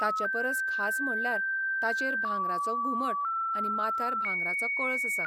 ताचे परस खास म्हणल्यार ताचेर भांगराचो घुमट आनी माथ्यार भांगराचो कळस आसा.